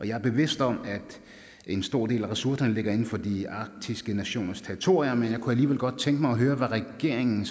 jeg er bevidst om at en stor del af ressourcerne ligger inden for de arktiske nationers territorier men jeg kunne alligevel godt tænke mig at høre hvad regeringen